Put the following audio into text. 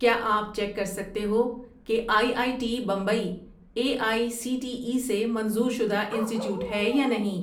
کیا آپ چیک کر سکتے ہو کہ I I T Bombay A I C T E سے منظور شدہ انسٹی ٹییوٹ ہے یا نہیں؟